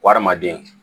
Adamaden